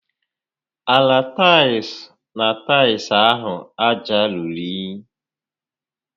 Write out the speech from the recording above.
Ala taịls na taịls ahụ aja ruru únyí